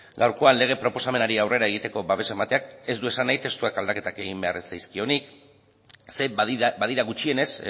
gaurkoan lege proposamenari aurrera egiteko babesa emateak ez du esan nahi testuak aldaketak egin behar ez zaizkionik ze badira gutxienez